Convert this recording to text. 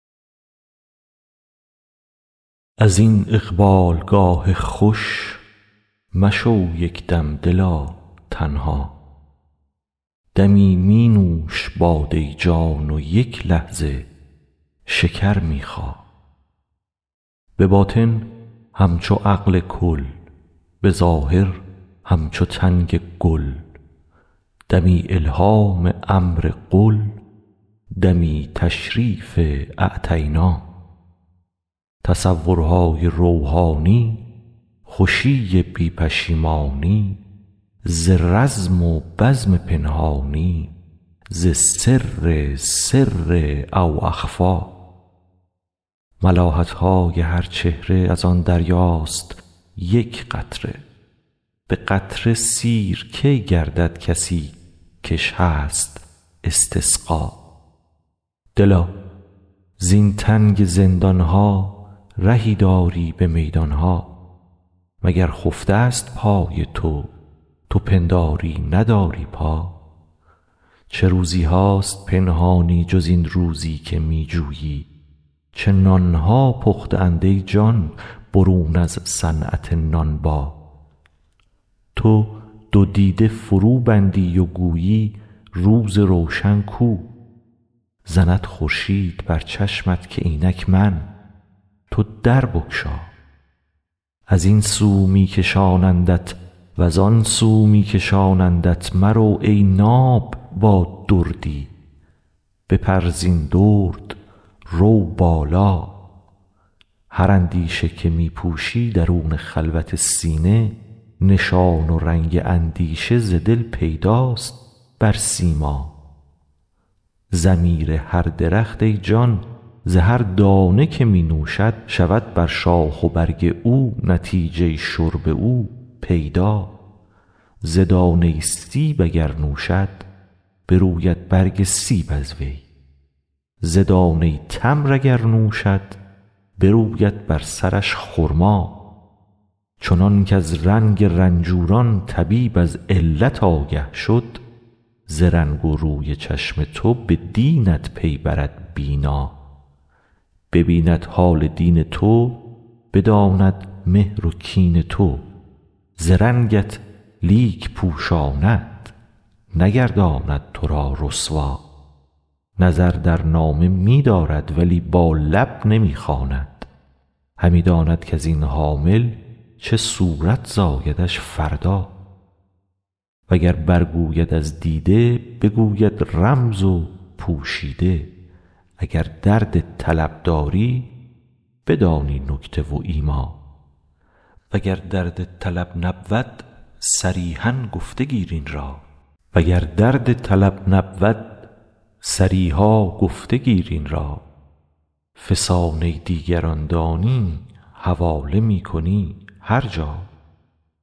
از این اقبالگاه خوش مشو یک دم دلا تنها دمی می نوش باده جان و یک لحظه شکر می خا به باطن همچو عقل کل به ظاهر همچو تنگ گل دمی الهام امر قل دمی تشریف اعطینا تصورهای روحانی خوشی بی پشیمانی ز رزم و بزم پنهانی ز سر سر او اخفی ملاحت های هر چهره از آن دریاست یک قطره به قطره سیر کی گردد کسی کش هست استسقا دلا زین تنگ زندان ها رهی داری به میدان ها مگر خفته ست پای تو تو پنداری نداری پا چه روزی هاست پنهانی جز این روزی که می جویی چه نان ها پخته اند ای جان برون از صنعت نانبا تو دو دیده فروبندی و گویی روز روشن کو زند خورشید بر چشمت که اینک من تو در بگشا از این سو می کشانندت و زان سو می کشانندت مرو ای ناب با دردی بپر زین درد رو بالا هر اندیشه که می پوشی درون خلوت سینه نشان و رنگ اندیشه ز دل پیداست بر سیما ضمیر هر درخت ای جان ز هر دانه که می نوشد شود بر شاخ و برگ او نتیجه شرب او پیدا ز دانه سیب اگر نوشد بروید برگ سیب از وی ز دانه تمر اگر نوشد بروید بر سرش خرما چنانک از رنگ رنجوران طبیب از علت آگه شد ز رنگ و روی چشم تو به دینت پی برد بینا ببیند حال دین تو بداند مهر و کین تو ز رنگت لیک پوشاند نگرداند تو را رسوا نظر در نامه می دارد ولی با لب نمی خواند همی داند کز این حامل چه صورت زایدش فردا وگر برگوید از دیده بگوید رمز و پوشیده اگر درد طلب داری بدانی نکته و ایما وگر درد طلب نبود صریحا گفته گیر این را فسانه دیگران دانی حواله می کنی هر جا